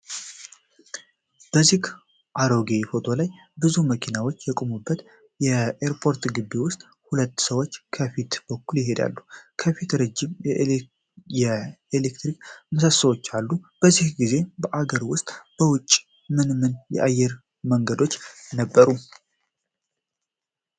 በዚህ አሮጌ ፎቶ ላይ፣ ብዙ መኪናዎች በቆሙበት የኤርፖርት ግቢ ውስጥ፣ ሁለት ሰዎች ከፊት በኩል ይሄዳሉ። በፊቱ ረጅም የኤሌክትሪክ ምሰሶዎች አሉ። በዚያን ጊዜ በአገር ውስጥና በውጭ ምን ምን አየር መንገዶች ነበሩ?